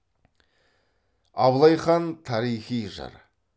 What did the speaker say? абылай хан тарихи жыр